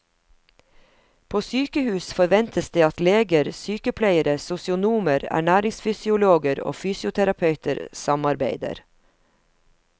På sykehus forventes det at leger, sykepleiere, sosionomer, ernæringsfysiologer og fysioterapeuter samarbeider.